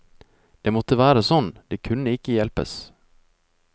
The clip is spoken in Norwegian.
Det måtte være sånn, det kunne ikke hjelpes.